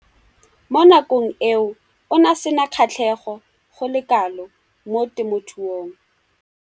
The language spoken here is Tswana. Mo nakong eo o ne a sena kgatlhego go le kalo mo temothuong.